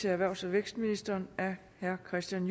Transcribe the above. erhvervs og vækstministeren af herre kristian